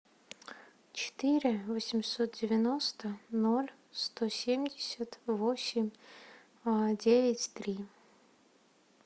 четыре восемьсот девяносто ноль сто семьдесят восемь девять три